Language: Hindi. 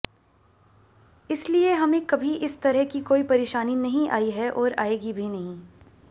इसलिए हमें कभी इस तरह की कोई परेशानी नहीं आई है और आएगी भी नहीं